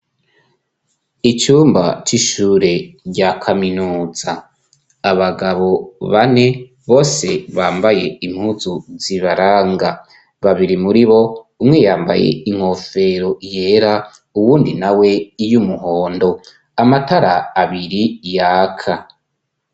Icumba c'ishure rya kaminutsa abagabo bane bose bambaye impuzu zibaranga babiri muri bo umweyambaye inkofero yera uwundi na we y'umuhondo amatara abiri yaka.